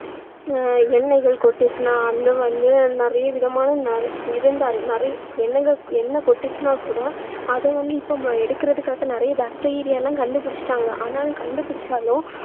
ஆஹ் எண்ணெய்கள் கொட்டுச்சுன்னா அங்க வந்து நிறைய விதமா இருந்தா~ நிறை~ எண்ணெங்க~ எண்ணெய் கொட்டுச்சுன்னா கூட அதை வந்து இப்போ எடுக்குறதுக்காக நிறைய bacteria எல்லாம் கண்டு புடிச்சுட்டாங்க ஆனா கண்டுபுடிச்சாலும்